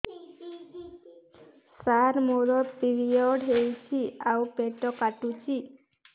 ସାର ମୋର ପିରିଅଡ଼ ହେଇଚି ଆଉ ପେଟ କାଟୁଛି